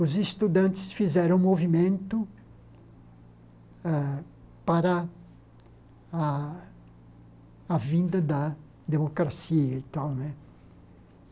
Os estudantes fizeram movimento a para a a vinda da democracia e tal né.